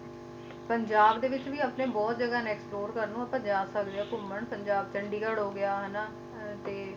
ਪੰਜਾਬ ਦੇ ਵਿੱਚ ਵੀ ਆਪਣੇ ਬਹੁਤ ਜਗ੍ਹਾ ਨੇ explore ਕਰਨ ਨੂੰ ਆਪਾ ਜਾ ਸਕਦੇ ਆ ਘੁੰਮਣ ਪੰਜਾਬ, ਚੰਡੀਗੜ੍ਹ ਹੋ ਗਿਆ ਹਨਾਂ ਅਹ ਤੇ